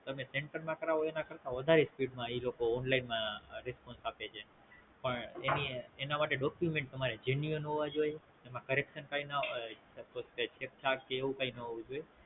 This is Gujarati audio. તમે Center માં કરાવો એના કરતા વધારે Speed માં ઈ લોકો Online માં Response આપે છે એની માટે Document તમારે Genuine હોવા જોયે એમાં Correction છેકછાક એ ના હોવું જોઈ